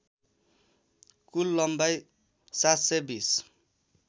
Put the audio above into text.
कुल लम्बाइ ७२०